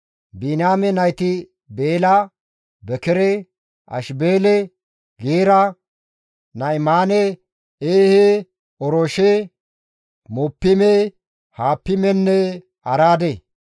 Biniyaame nayti Beela, Bekere, Ashibeele, Geera, Na7imaane, Eehe, Orooshe, Muppiime, Huppimenne Araade.